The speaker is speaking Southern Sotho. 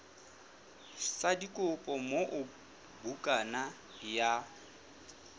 sa dikopo moo bukana ya